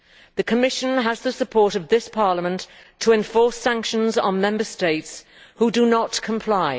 The Commission has the support of this Parliament to enforce sanctions on Member States who do not comply.